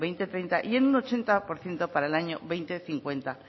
dos mil treinta y en un ochenta por ciento para el año dos mil cincuenta